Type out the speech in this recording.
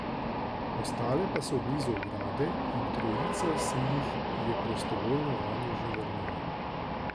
Ostale pa so blizu ograde in trojica se jih je prostovoljno vanjo že vrnila.